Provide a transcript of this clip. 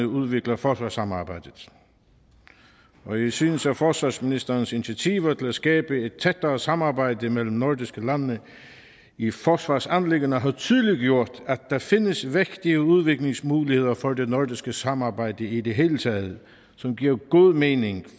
udvikler forsvarssamarbejdet og jeg synes at forsvarsministerens initiativer til at skabe et tættere samarbejde mellem nordiske lande i forsvarsanliggender har tydeliggjort at der findes vægtige udviklingsmuligheder for det nordiske samarbejde i det hele taget som giver god mening